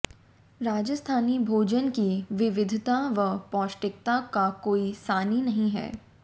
राजस्थानी भोजन की विविधता व पौष्टिकता का कोई सानी नहीं है